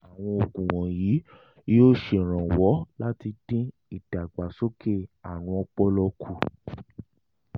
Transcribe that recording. àwọn oògùn wọ̀nyí yóò ṣèrànwọ́ láti dín ìdàgbàsókè àrùn ọpọlọ kù